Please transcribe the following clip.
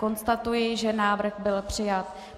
Konstatuji, že návrh byl přijat.